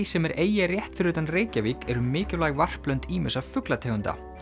sem er eyja rétt fyrir utan Reykjavík eru mikilvæg varplönd ýmissa fuglategunda